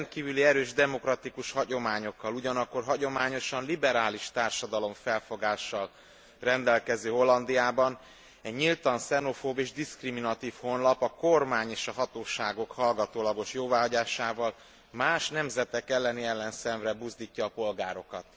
A rendkívüli erős demokratikus hagyományokkal, ugyanakkor hagyományosan liberális társadalomfelfogással rendelkező Hollandiában egy nyíltan xenofób és diszkriminatív honlap a kormány és a hatóságok hallgatólagos jóváhagyásával más nemzetek elleni ellenszenvre buzdítja a polgárokat.